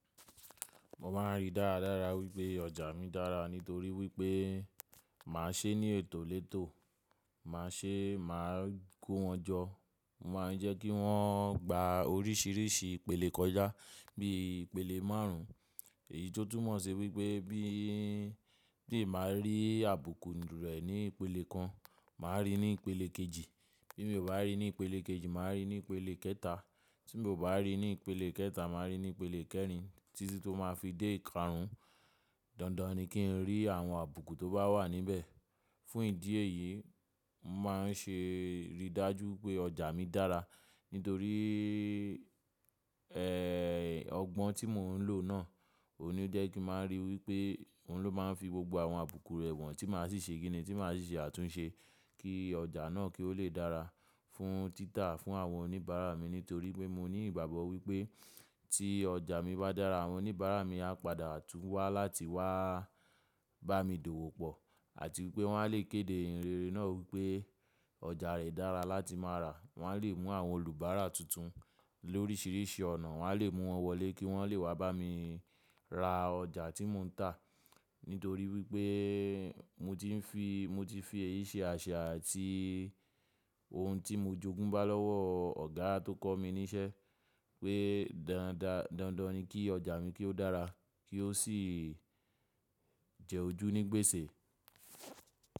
Mo máa ń rí dáradára wípé ọjà mi dára nítorí wípé màá ṣe é ní ètò létò, màá ṣe é, màá ko wọn jọ. Mo máa ń jẹ́ kí wọ́n gba oríṣìíríṣìí ìpele kọjá bí i ìpele márùn. Èyí tó túmọ̀ ṣe wípé bí ti n bá rí àbùkù rẹ̀ ní ìpele kan, màá rí ní ìpele kejì. Bí mi ò bá rí ní ìpele kejì, màá rí ní ìpele kẹta. Tí mi ò bá rí ní ìpele kẹta, màá rí ní ìpele kẹrin títí tó máa fi dé ìkarun. Dandan ni kí n rí àwọn àbùkù tó bá wà níbẹ̀. Fún ìdí èyí, mo máa ń ṣe ìrídájú pé ọjà mi dára nítorí, ẹ́, ọgbọ́n tí mò ń lò náà òun ní o jẹ́ kí màá rí wípé òun ló máa ń fi gbogbo àwọn àbùkù rẹ wọ̀n tí màá sì ṣe kínì tí màá sì ṣe àtúnṣe kí ọjà náà kí ó lè dára fún títà fún àwọn oníbàárà mi nítorí pé mo ní ìgbàgbọ́ wípé tí ọjà mi bá dára, àwọn oníbàárà mi á padà tún wá láti wá bá mi dòwò pọ̀ àti wípé wọn a lè kéde ìyin rere náà wípé ọjà rẹ̀ dára láti máa rà. Wọn a lè mú àwọn olùbára tuntun lóríṣìíríṣìí ọ̀nà. Wọn a lè mú wọn wọlé kí wọ́n lè wá bá mi ra ọjà tí mò ń tà. Nítorí wípé mo ti ń fi, mo ti fi èyí ṣe àṣa àti ohun tí mo jogún bá lọ́wọ́ ọ̀gá tó kọ́ mi níṣẹ́ pé dandan, dandan ni kí ọjà mi kí ó dára kí ó sì jẹ́ ojú ní gbèsè.